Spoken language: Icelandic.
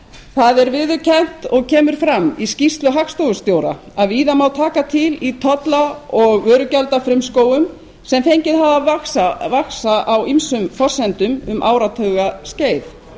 það er viðurkennt og kemur fram í skýrslu hagstofustjóra að víða má taka til í tolla og vörugjaldafrumskógum sem fengið hafa að vaxa á ýmsum forsendum um áratuga skeið